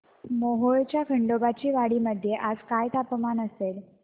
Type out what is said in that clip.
मोहोळच्या खंडोबाची वाडी मध्ये आज काय तापमान असेल